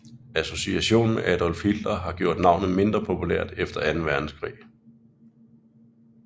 Association med Adolf Hitler har gjort navnet mindre populært efter Anden Verdenskrig